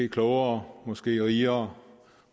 klogere måske rigere